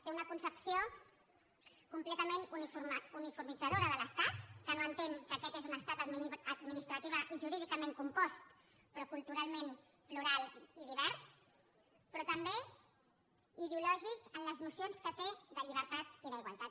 té una concepció completament uniformitzadora de l’estat que no entén que aquest és un estat administrativament i jurídicament compost però culturalment plural i divers però també ideològic en les nocions que té de llibertat i d’igualtat